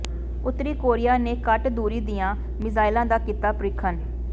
ਉੱਤਰੀ ਕੋਰੀਆ ਨੇ ਘੱਟ ਦੂਰੀ ਦੀਆਂ ਮਿਜ਼ਾਇਲਾਂ ਦਾ ਕੀਤਾ ਪ੍ਰੀਖਣ